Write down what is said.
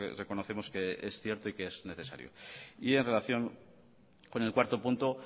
reconocemos que es cierto y que es necesario y en relación con el cuarto punto